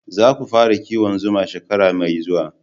Za ku fara kiwon zuma shekara mai zuwa